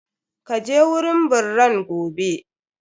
Ka je wurin birran gobe!